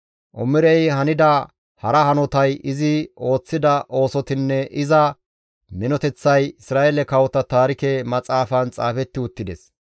Omirey hanida hara hanotay, izi ooththida oosotinne iza minoteththay Isra7eele kawota taarike maxaafan xaafetti uttides.